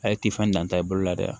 A ye tifan danta i bolo la dɛ